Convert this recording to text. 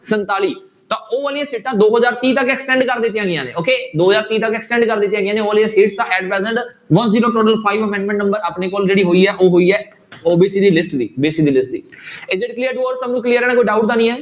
ਸੰਤਾਲੀ ਤਾਂ ਉਹ ਵਾਲੀਆਂ ਸੀਟਾਂ ਦੋ ਹਜ਼ਾਰ ਤੀਹ ਤੱਕ extend ਕਰ ਦਿੱਤੀਆਂ ਗਈਆਂ ਨੇ okay ਦੋ ਹਜ਼ਾਰ ਤੀਹ ਤੱਕ extend ਕਰ ਦਿੱਤੀਆਂ ਗਈਆਂ ਨੇ ਉਹ ਵਾਲੀਆਂ seats ਤਾਂ at present one zero total five amendment number ਆਪਣੇ ਕੋਲ ਜਿਹੜੀ ਹੋਈ ਹੈ ਉਹ ਹੋਈ ਹੈ clear to all ਸਭ ਨੂੰ clear ਹੈ ਨਾ ਕੋਈ doubt ਤਾਂ ਨੀ ਹੈ।